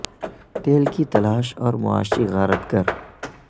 تیل کی تلاش اور معاشی غارت گر